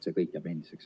See kõik jääb endiseks.